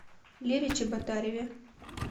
лере чеботареве